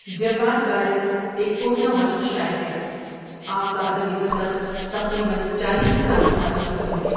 جواد وارث ایک کہنہ مشق شاعر ہے آپ کا ادبی سفر تقریبن چالیس سالوں پر مشتمل ہیں ۔